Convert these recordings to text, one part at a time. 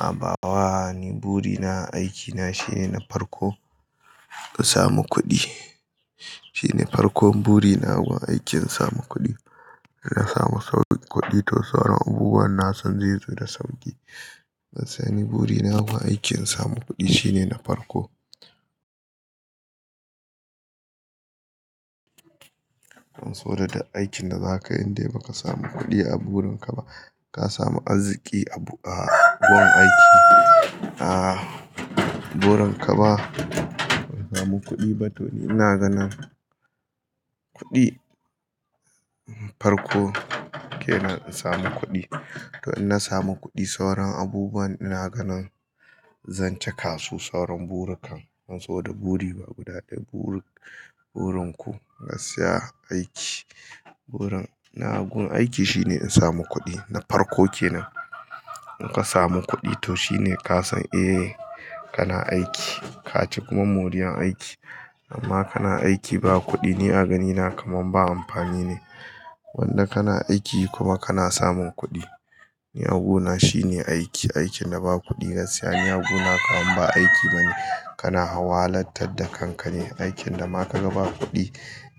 A bawa ni buri na, aikina shine na farko ka samu kuɗi. Shine farkon buri na gun aikin samu kuɗi. Na samu sauƙin kuɗi to sauran abubuwan na san zai zo da sauƙi. Gaskiya ni buri na gun aikin samu kuɗi shine na farko. An so da da aikin da zaka yi dai baka samu kuɗi a burin ka ba. Ka samu arziki a gun aiki. A burin ka ba ka samu kuɗi ba to ni ina ganin kuɗi farko ke nan in samu kuɗi. To in na samu kuɗi sauran abubuwan ina ganin zan cika su. Sauran buri kan an zo da buri ba gudaɗo. Burin ku ka siya aiki. Burin na gun aiki shine in samu kuɗi. Na farko ke nan. In ka samu kuɗi to shine ka san eh kana aiki. Ka ci kuma moriyar aiki. Amma kana aiki ba kuɗi, ni a ganina kamar ba amfani ne. Wanda kana aiki kuma kana samun kuɗi. Ni a gona shine aiki, aikin da ba kuɗi gaskiya ni a gona kamar ba aiki bane. Kana hawalatar da kanka ne. Aikin da ma ka ga ba kuɗi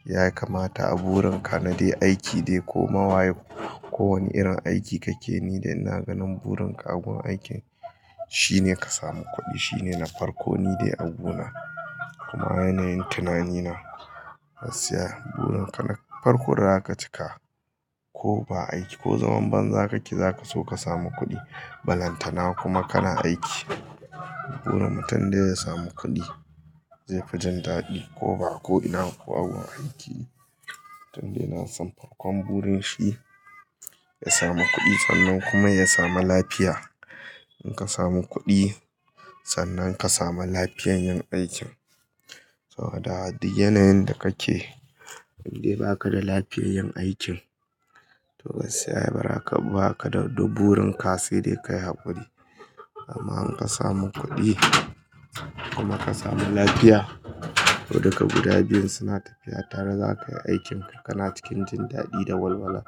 ya kamata a burin ka na dai aiki dai ko mawaye ko wani irin aiki kake yi dai ina ganin burin ka a gun aikin shine ka samu kuɗi shine na farko ni dai a guna. Kuma yanayin tunanina gaskiya burin ka na farko da aka cika ko ba aiki ko zaman banza kake za ka so ka samu kuɗi. Balantana kuma kana aiki. Burin mutum dai ya samu kuɗi zai fi jan daɗi ko ba ko ina kuwa gun aiki. Tun dai na san farkon burin shi ya samu kuɗi sannan kuma ya samu lafiya. In ka samu kuɗi sannan ka samu lafiyan yin aikin. Sau da haddi, yanayin da kake dai baka da lafiyan yin aikin to gaskiya ai bara ka, ba ka da, da burin ka sai dai ka yi haƙuri. Amma in ka samu kuɗi kuma ka samu lafiya, to duka guda biyun suna tafiya tare. Za ka yi aikin ka, kana cikin jin daɗi da walwala.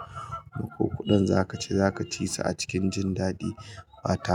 Makokuɗin za ka ci za ka ci su a cikin jin daɗi. Ba tare-